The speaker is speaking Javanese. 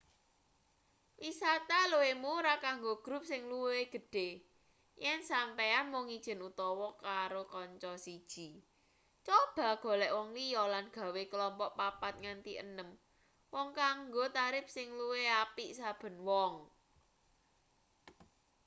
wisata luwih murah kanggo grup sing luwih gedhe yen sampeyan mung ijen utawa karo kanca siji coba golek wong liya lan gawe klompok papat nganti enem wong kanggo tarip sing luwih apik saben wong